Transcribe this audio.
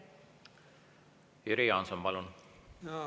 Jüri Jaanson, palun!